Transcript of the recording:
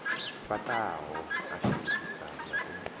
fhaṱaho a shandukisaho na u